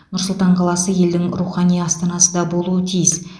нұр сұлтан қаласы елдің рухани астанасы да болуы тиіс